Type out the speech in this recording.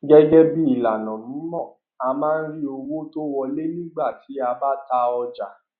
gẹgẹ bí ìlànà mímọ a máa rí owó tó wọlé nígbà tí a bá ta ọjà